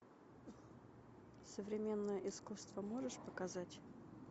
современное искусство можешь показать